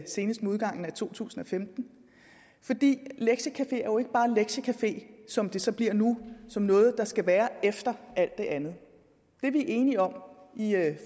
senest med udgangen af to tusind og femten fordi lektiecafeer jo ikke bare er lektiecafeer som det så bliver nu som noget der skal være efter alt det andet det er vi enige om i